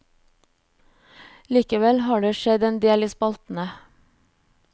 Likevel har det skjedd en del i spaltene.